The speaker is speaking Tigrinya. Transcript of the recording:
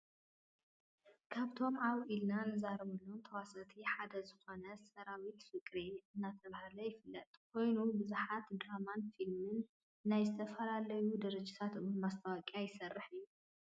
ካብቶም ኣውና ኢልና ንዛረበሎም ተዋሳእቲ ሓደ ዝኮነ ሰራዊት ፍቅሬ እናተባህለ ይፍለጥ ኮይኑ ብዙሓት ድራማን ፊልምን ናይ ዝተፈላለዩ ድርጅት እውን ማስታወቂያ ይሰርሕ እዩ።